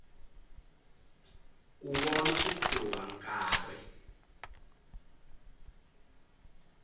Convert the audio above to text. ku vona switlhuva nkarhi